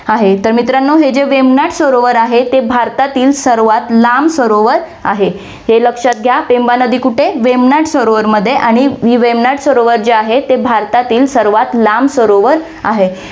आहे, तर मित्रांनो, हे जे वेमनाथ सरोवर आहे, ते भारतातील सर्वात लांब सरोवर आहे. हे लक्षात घ्या, पेंबा नदी कुठे? वेमनाथ सरोवरमध्ये आणि वेमनाथ सरोवर जे आहे, ते भारतातील सर्वात लांब सरोवर आहे.